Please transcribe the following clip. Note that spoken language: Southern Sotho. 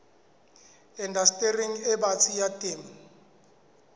indastering e batsi ya temo